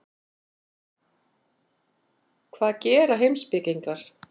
Hvað gera heimspekingar?